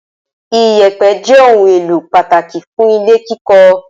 Ìyẹ̀pẹ̀ jẹ́ ohun-èlò pàtàkì fún ilé kíkọ́.